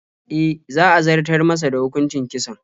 E, za a zartar masa da hukuncin kisan.